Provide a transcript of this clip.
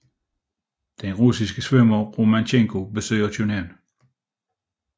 Den russiske svømmer Romantchenko besøger København